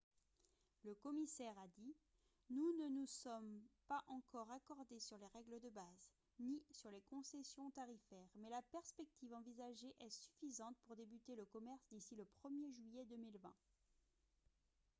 le commissaire a dit :« nous ne nous sommes pas encore accordés sur les règles de base ni sur les concessions tarifaires mais la perspective envisagée est suffisante pour débuter le commerce d'ici le 1er juillet 2020 »